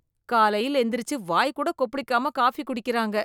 காலையில் எந்திரிச்சு வாய் கூட கொப்பளிக்காம காபி குடிக்கிறாங்க